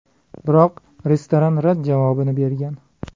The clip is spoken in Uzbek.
Biroq restoran rad javobini bergan.